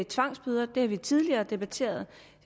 tvangsbøder har vi tidligere debatteret